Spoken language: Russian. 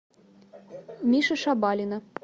миши шабалина